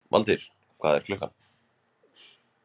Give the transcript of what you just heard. Valtýr, hvað er klukkan?